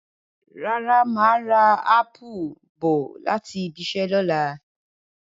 Rárá, màá rà ápù bọ̀ láti ibiṣẹ́ ní ọ̀la